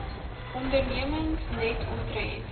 ondernemings net omtrent